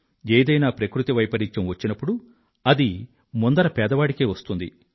ఏదైనా ప్రకృతి వైపరీత్యం వచ్చినప్పుడు అది ముందర పేదవాడికే వస్తుంది